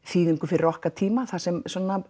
þýðingu fyrir okkar tíma þar sem